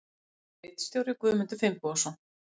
Ritstjóri Guðmundur Finnbogason.